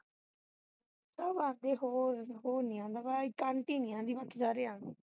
ਸਭ ਆਉਂਦੇ ਹੋਰ ਉਹ ਨਹੀਂ ਆਉਂਦਾ ਇੱਕ aunty ਨਹੀਂ ਆਉਂਦੀ ਬਾਕੀ ਸਾਰੇ ਆਉਂਦੇ